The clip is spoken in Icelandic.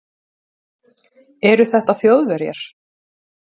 Eru þetta Þjóðverjar?